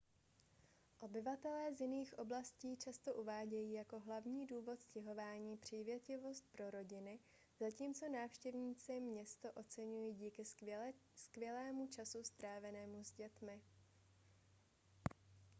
obyvatelé z jiných oblastí často uvádějí jako hlavní důvod stěhování přívětivost pro rodiny zatímco návštěvníci město oceňují díky skvělému času strávenému s dětmi